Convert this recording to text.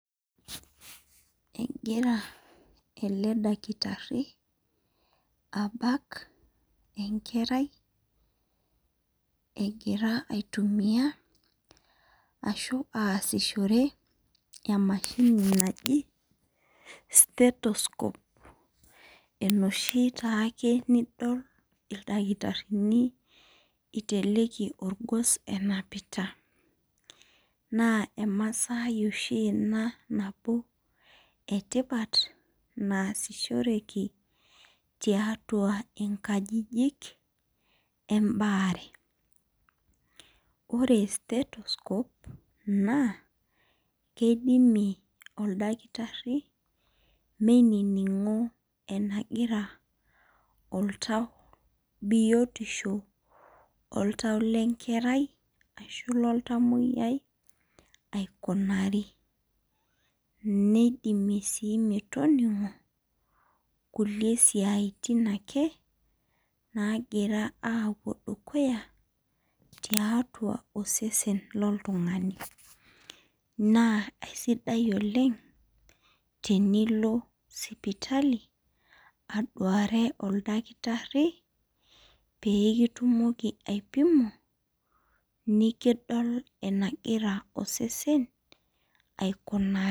Egira ele dakitarini abak. enkerai egira aitumia ashu aasishore emashini naji. state scope enoshi taa ake nidol ildakitarini eiteleki olgos enapita. naa emasaai oshi Ina nabo etipat naasishoreki. tiatua nkajijik ebaare. ore state scope naa keidimie oldakitari meininino enagira oltau biotisho oltau le nkerai ashu loltamoyiai aikunari. neidimie sii metoningo kulie siatin ake napotio dukuya tosesen loltunngani. neekunisidai ake tenilo sipitali aduare oldakitari pee kiliku enegira osesen aikunari.